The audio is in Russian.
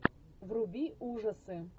вруби ужасы